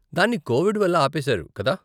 దాన్ని కోవిడ్ వల్ల ఆపేశారు, కదా?